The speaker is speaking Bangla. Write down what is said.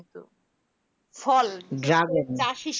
ফল চাষ তো